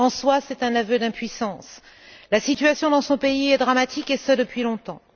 En soi, c'est un aveu d'impuissance. La situation dans ce pays est dramatique, et ce depuis longtemps.